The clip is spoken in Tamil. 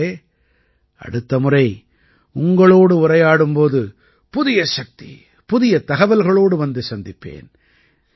நண்பர்களே அடுத்த முறை உங்களோடு உரையாடும் போது புதிய சக்தி புதிய தகவல்களோடு வந்து சந்திப்பேன்